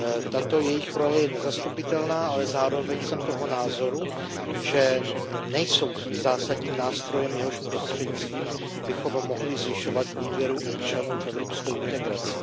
Tato jejich role je nezastupitelná, ale zároveň jsem toho názoru, že nejsou tím zásadním nástrojem, jehož prostřednictvím bychom mohli zvyšovat důvěru občanů v evropskou integraci.